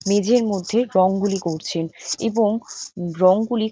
মেঝের মধ্যে রংগুলি করছে এবং রংগুলি--